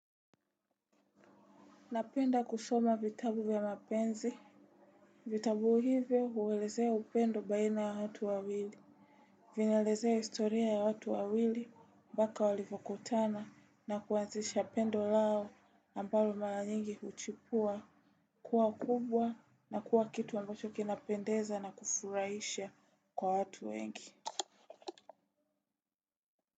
Napenda kusoma vitabu ya mapenzi. Vitabu hivyo huelezea upendo baina ya watu wawili. Vinaelezea historia ya watu wawili mpaka walivyokutana na kuanzisha pendo lao ambalo mara nyingi huchipua. Kuwa kubwa na kuwa kitu ambacho kinapendeza na kufurahisha kwa watu wengi.